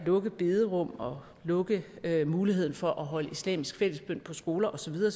lukke bederum og lukke muligheden for at holde islamisk fællesbøn på skoler og så videre